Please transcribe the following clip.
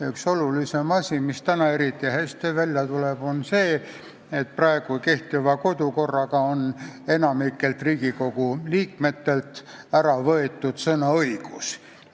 Üks olulisemaid asju, mis täna eriti hästi välja tuleb, on see, et kehtiva kodukorraga on enamikult Riigikogu liikmetelt võetud ära sõnaõigus.